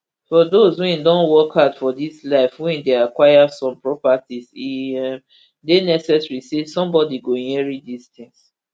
for dose wey don work hard for dis life wey dey acquire some properties e um dey necessary say sombodi go inherit dis tins